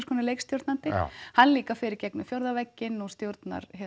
konar leikstjórnandi hann líka fer í gegnum fjórða vegginn og stjórnar